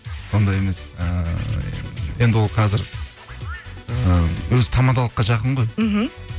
ондай емес ііі енді ол қазір і өзі тамадылыққа жақын ғой мхм